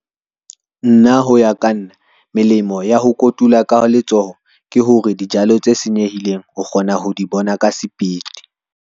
Nna ho ya ka nna melemo ya ho kotula ka letsoho ke hore, dijalo tse senyehileng o kgona ho di bona ka sepiti.